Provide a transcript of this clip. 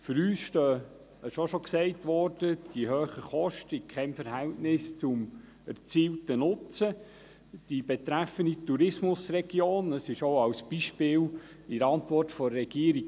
Für uns stehen die hohen Kosten in keinem Verhältnis zum zu erzielenden Nutzen.